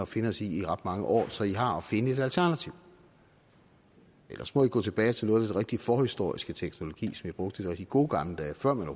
finde os i i ret mange år så i har at finde et alternativ ellers må i gå tilbage til noget af den rigtig forhistoriske teknologi som i brugte i de rigtig gode gamle dage før man